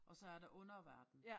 Og så er der underverden